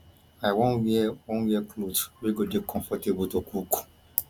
i wan wear wan wear cloth wey go dey comfortable to cook